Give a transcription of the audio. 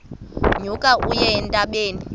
nyuka uye entabeni